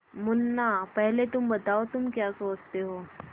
मुन्ना पहले तुम बताओ तुम क्या सोचते हो